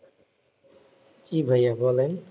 জ্বি ভাইয়া বলেন